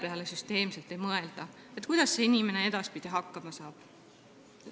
Ei mõelda süsteemselt selle peale, kuidas see inimene edaspidi hakkama saab.